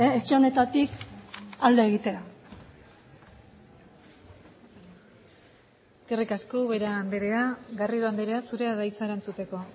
etxe honetatik alde egitea eskerrik asko ubera andrea garrido andrea zurea da hitza erantzuteko